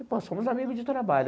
E, pô, somos amigos de trabalho.